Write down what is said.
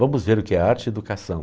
Vamos ver o que é arte-educação.